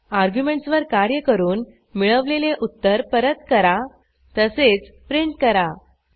arguments वर कार्य करून मिळवलेले उत्तर परत करा तसेच प्रिंट करा